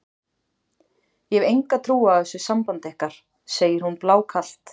Ég hef enga trú á þessu sambandi ykkar, segir hún blákalt.